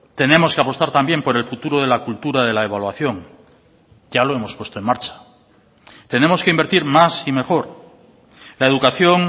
tenemos que apostar también por el futuro de la cultura de la evaluación ya lo hemos puesto en marcha tenemos que invertir más y mejor la educación